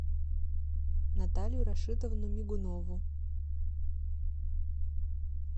наталью рашитовну мигунову